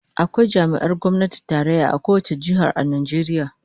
Akwai jami'ar gwamnatin tarayya a kowace jiha a Najeriya